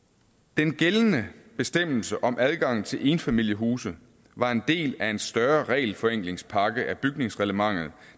den gældende bestemmelse om adgang til enfamiliehuse var en del af en større regelforenklingspakke vedrørende bygningsreglementet